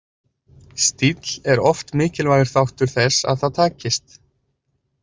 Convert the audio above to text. Stíll er oft mikilvægur þáttur þess að það takist.